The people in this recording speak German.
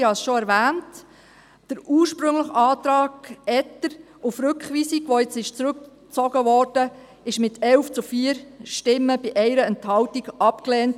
Der ursprüngliche Antrag Etter auf Rückweisung, der nun zurückgezogen wurde, wurde mit 11 zu 4 Stimmen bei 1 Enthaltung abgelehnt.